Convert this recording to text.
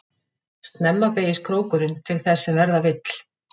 Snemma beygist krókurinn til þess sem verða vill.